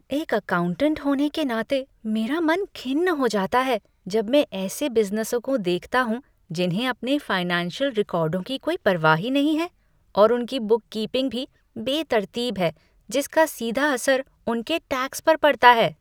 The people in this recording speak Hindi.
एक अकाउंटेट होने के नाते, मेरा मन खिन्न हो जाता है जब मैं ऐसे बिज़नेसों को देखता हूँ जिन्हें अपने फाइनेंशियल रिकॉर्डों की कोई परवाह ही नहीं है और उनकी बुककीपिंग भी बेतरतीब है जिसका सीधा असर उनके टैक्स पर पड़ता है।